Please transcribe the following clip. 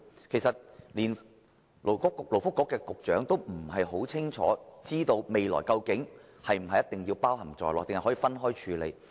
事實上，連勞工及福利局局長也不大清楚將來是否一定要包含在內，抑或可以分開處理。